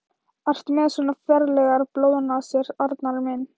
Ertu með svona ferlegar blóðnasir, Arnar minn?